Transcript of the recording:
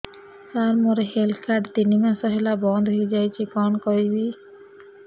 ସାର ମୋର health card ତିନି ମାସ ହେଲା ବନ୍ଦ ହେଇଯାଇଛି କଣ କରିବି